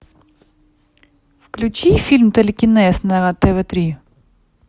включи фильм телекинез на тв три